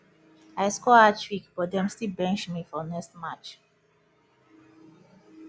i score hattrick but dem still bench me for next match